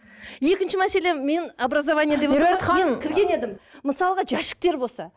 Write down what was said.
екінші мәселе мен образование деп меруерт ханым кірген едім мысалға жәшіктер болса